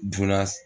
Dunan